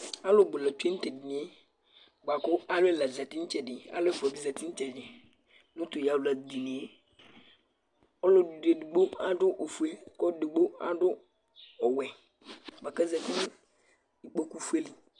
Alʋ bʋ la tsue nʋ tʋ edini yɛ bʋa kʋ alʋ ɛla zati nʋ ɩtsɛdɩ, alʋ ɛfʋa bɩ zati nʋ ɩtsɛdɩ nʋ tʋ yawladini yɛ Ɔlɔdɩ edigbo adʋ ofue kʋ edigbo adʋ awʋwɛ bʋa kʋ azati nʋ ikookufue li